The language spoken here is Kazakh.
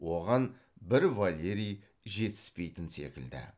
оған бір валерий жетіспейтін секілді